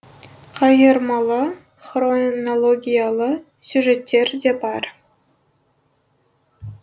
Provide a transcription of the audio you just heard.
қайырмалы хронологиялы сюжеттер де бар